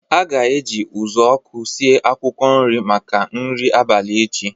A ga-eji uzuoku sie akwụkwọ nri maka nri abalị echi